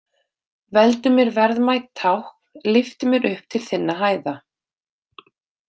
Veldu mér verðmæt tákn, lyftu mér upp til þinna hæða.